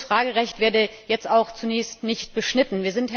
und dieses Fragerecht werde jetzt auch zunächst nicht beschnitten.